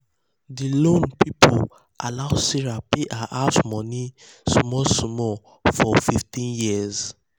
di loan people allow sarah pay her house money small small for 15 years.